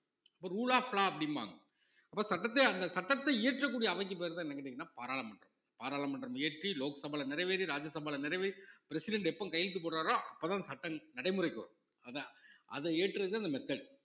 இப்ப rule of law அப்படிம்பாங்க அப்ப சட்டத்தை அந்த சட்டத்தை இயற்றக்கூடிய அவைக்கு பெயர்தான் என்னன்னு கேட்டீங்கன்னா பாராளுமன்றம், பாராளுமன்றம் இயற்றி லோக்சபால நிறைவேறி ராஜ்யசபால நிறைவேறி president எப்ப கையெழுத்து போடறாரோ அப்பதான் அந்த சட்டம் நடைமுறைக்கு வரும் அதான் அத இயற்றுறதுதான் அந்த method